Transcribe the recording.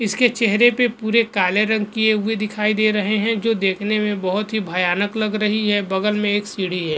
इसके चेहरे पे पुरे काले रंग किये हुए दिखाई दे रहे है जो देखने में बहुत ही भयानक लग रही है बगल में एक सीढ़ी है।